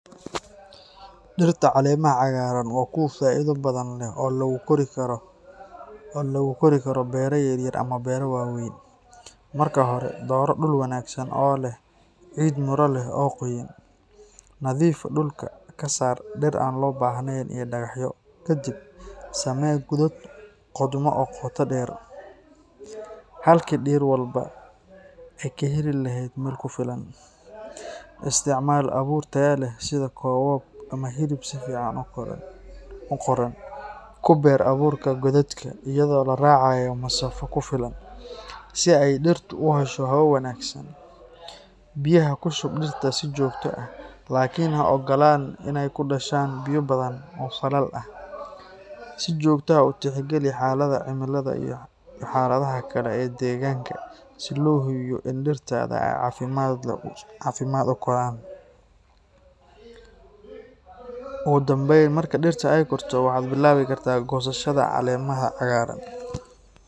Dhirta caleemaha cagaaran waa kuwo faa'iido badan leh oo lagu kori karo beero yaryar ama beero waaweyn. Marka hore, dooro dhul wanaagsan oo leh ciid miro leh oo qoyan. Nadiifi dhulka, ka saar dhir aan loo baahnayn iyo dhagaxyo. Kadib, samee godad qodmo oo qoto dheer, halkii dhir walba ay ka heli lahayd meel ku filan. Isticmaal abuur tayo leh sida koobab ama hilib si fiican u koraan. Ku beeri abuurka godadka, iyadoo la raacayo masaafo ku filan, si ay dhirtu u hesho hawo wanaagsan. Biyaha ku shub dhirta si joogto ah, laakiin ha ogolaan in ay ku dhashaan biyo badan oo faalal ah. Si joogto ah u tixgeli xaaladaha cimilada iyo xaaladaha kale ee deegaanka, si loo hubiyo in dhirtaada ay si caafimaad leh u koraan. Ugu dambeyn, marka dhirta ay korto, waxaad bilaabi kartaa goosashada caleemaha cagaaran.